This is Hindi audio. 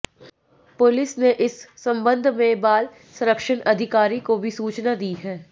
पुलिस ने इस संबंध में बाल संरक्षण अधिकारी को भी सूचना दी है